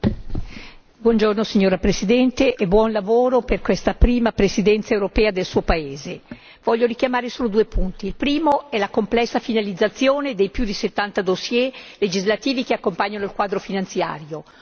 Signor Presidente, onorevoli colleghi, buongiorno signora Presidente e buon lavoro per questa prima Presidenza europea del Suo paese. Voglio richiamare solo due punti il primo è la complessa finalizzazione dei più di 70 dossier legislativi che accompagnano il quadro finanziario.